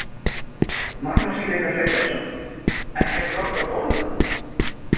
Magnús Hlynur Hreiðarsson: Ekkert gott að borða?